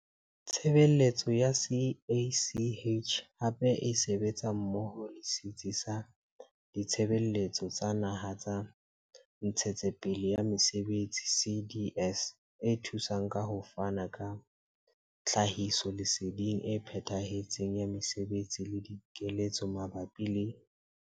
Tshebeletso ya CACH hape e sebetsa mmoho le setsi sa Ditshebeletso tsa Naha tsa Ntshetsepele ya Mesebetsi CDS e thusang ka ho fana ka tlhahisoleseding e phethahetseng ya mesebetsi le dikeletso mabapi le.